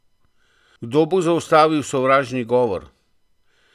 Kdo bo zaustavil sovražni govor?